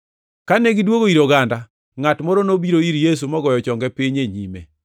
Kane gidwogo ir oganda, ngʼat moro nobiro ir Yesu mogoyo chonge piny e nyime.